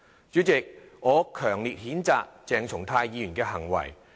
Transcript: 主席，我強烈譴責鄭松泰議員的行為。